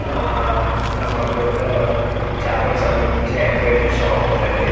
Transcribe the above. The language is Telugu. ఆఆఆ కప్ బోర్డ్ లో చాపలకు సంబందించి అక్వేరియం షాప్ ఉందండి.